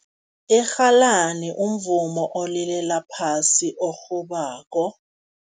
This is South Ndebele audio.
Irhalani umvumo olilela phasi orhubako.